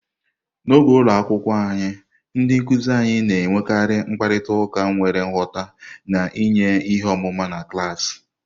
N'oge ụlọ akwụkwọ anyị, ndị nkuzi anyị na-enwekarị mkparịta ụka nwere nghọta, na-enye ihe ọmụma na klaasị.